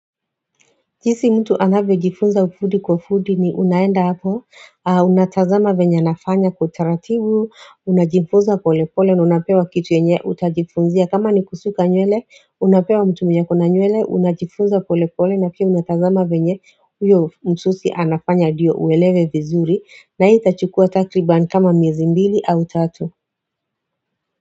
Jinsi mtu anavyojifunza ufundi kwa ufundi ni unaenda hapo Unatazama venya nafanya kwa utaratibu Unajifunza pole pole na unapewa kitu yenye utajifunzia kama ni kusuka nywele unapewa mtu mwenye ako na nywele Unajifunza pole pole na pia unatazama venye huyo msusi anafanya ndio uelewe vizuri na hii itachukua takriban kama miezi mbili au tatu.